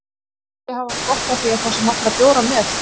Kannski hafði hann gott af því að fá sér nokkra bjóra með